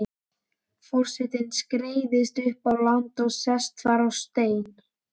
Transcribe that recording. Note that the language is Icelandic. Forsetinn skreiðist upp á land og sest þar á stein.